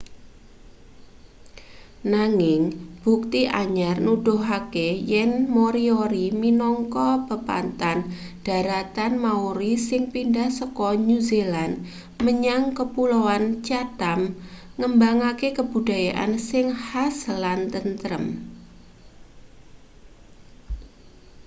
nanging bukti anyar nuduhake yen moriori minangka pepanthan dharatan maori sing pindah saka new zealand menyang kapuloan chatham ngembangake kabudayan sing khas lan tentrem